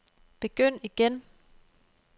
begynd igen